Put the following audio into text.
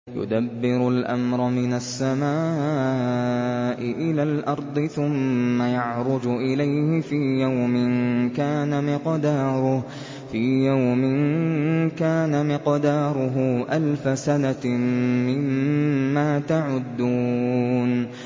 يُدَبِّرُ الْأَمْرَ مِنَ السَّمَاءِ إِلَى الْأَرْضِ ثُمَّ يَعْرُجُ إِلَيْهِ فِي يَوْمٍ كَانَ مِقْدَارُهُ أَلْفَ سَنَةٍ مِّمَّا تَعُدُّونَ